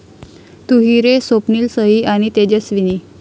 तू ही रे...स्वप्नील, सई आणि तेजस्विनी